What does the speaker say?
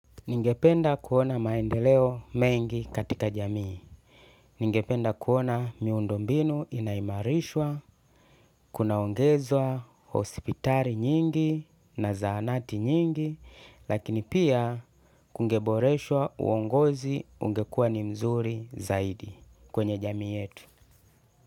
Ningependa kuona maendeleo mengi katika jamii, ningependa kuona miundo mbinu inaimarishwa, kunaongezwa, hospitali nyingi na zaanati nyingi, lakini pia kungeboreshwa uongozi ungekuwa ni mzuri zaidi kwenye jamii yetu.